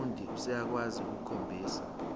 umfundi useyakwazi ukukhombisa